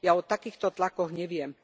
Ja o takýchto tlakoch neviem.